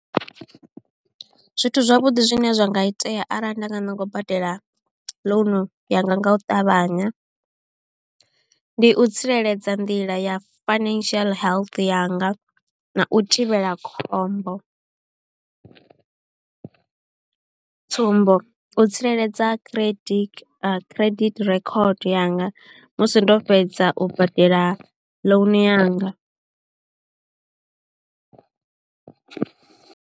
Zwithu zwavhuḓi zwine zwa nga itea arali nda nga ṋanga u badela loan yanga nga u ṱavhanya ndi u tsireledza nḓila ya financial health yanga na u thivhela khombo tsumbo u tsireledza credit credit record yanga musi ndo fhedza u badela loan yanga.